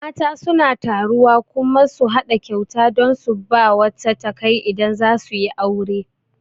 Mata suna taruwa kuma su haɗa kyauta dan su bawa wata takai idan zasu yi aure